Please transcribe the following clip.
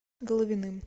головиным